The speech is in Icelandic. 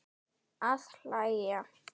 Að hlæja.